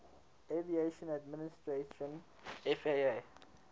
aviation administration faa